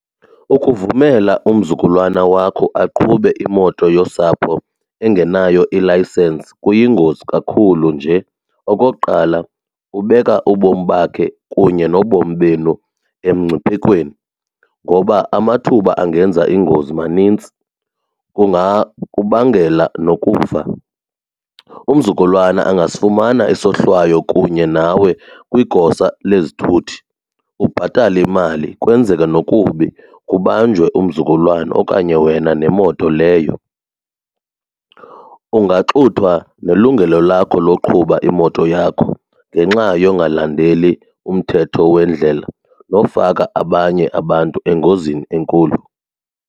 Ukuvumela umzukulwana wakho aqhube imoto yosapho engenayo ilayisensi kuyingozi kakhulu nje. Okokuqala, ubeka ubomi bakhe kunye nobomi benu emngciphekweni ngoba amathuba angenza ingozi manintsi, kungakubangela nokufa. Umzukulwana angasifumana isohlwayo kunye nawe kwigosa lezithuthi, ubhatale imali kwenzeke nokubi kubanjwe umzukulwana okanye wena nemoto leyo. Ungaxuthwa nelungelo lakho loqhuba imoto yakho ngenxa yongalandeli umthetho wendlela nofaka abanye abantu engozini enkulu.